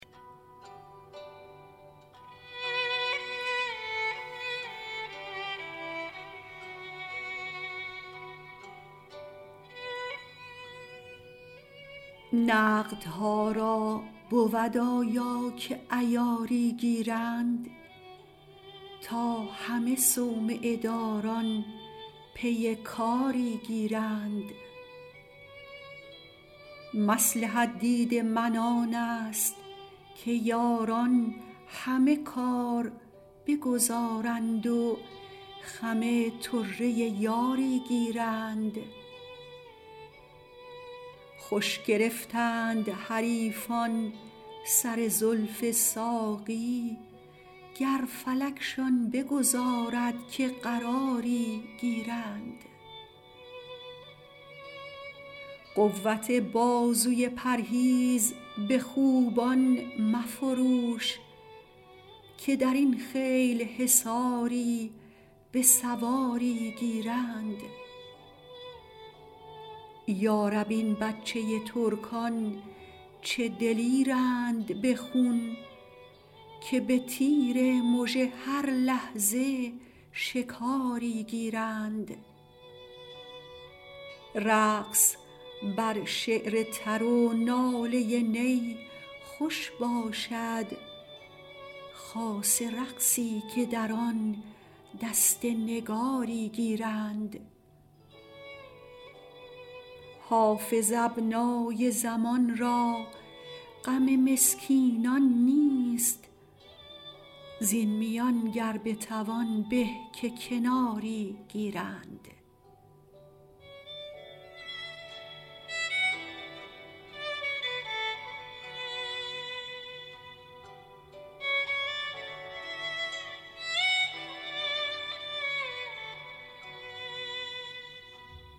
نقدها را بود آیا که عیاری گیرند تا همه صومعه داران پی کاری گیرند مصلحت دید من آن است که یاران همه کار بگذارند و خم طره یاری گیرند خوش گرفتند حریفان سر زلف ساقی گر فلکشان بگذارد که قراری گیرند قوت بازوی پرهیز به خوبان مفروش که در این خیل حصاری به سواری گیرند یا رب این بچه ترکان چه دلیرند به خون که به تیر مژه هر لحظه شکاری گیرند رقص بر شعر تر و ناله نی خوش باشد خاصه رقصی که در آن دست نگاری گیرند حافظ ابنای زمان را غم مسکینان نیست زین میان گر بتوان به که کناری گیرند